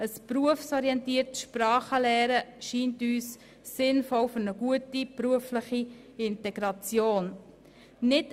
Ein berufsorientiertes Sprachenlernen scheint uns für eine gute berufliche Integration sinnvoll.